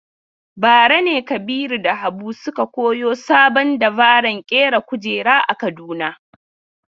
Bara ne Kabiru da Habu suka koyo sabon dabaran ƙera kujera a Kaduna.